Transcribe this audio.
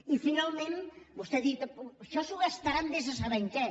i finalment vostè ha dit això s’ho gastaran vés a saber en què